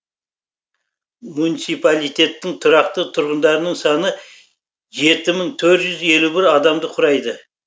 муниципалитеттің тұрақты тұрғындарының саны жеті мың төрт жүз елу бір адамды құрайды